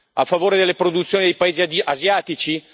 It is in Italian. A favore delle produzioni dei paesi asiatici?